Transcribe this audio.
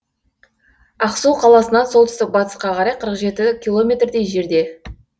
ақсу қаласынан солтүстік батысқа қарай қырық жеті километрдей жерде